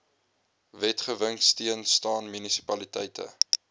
wetgewingsteun staan munisipaliteite